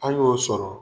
An y'o sɔrɔ